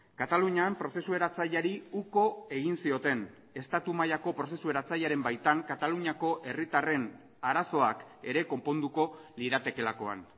katalunian prozesu eratzaileari uko egin zioten estatu mailako prozesu eratzailearen baitan kataluniako herritarren arazoak ere konponduko liratekeelakoan